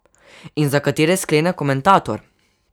In za katere, sklene komentator.